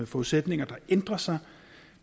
forudsætninger der ændrer sig